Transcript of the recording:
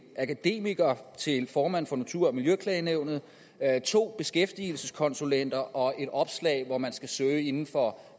akademiker til formand for natur og miljøklagenævnet 2 beskæftigelseskonsulenter og 3 et opslag hvor man skal søge inden for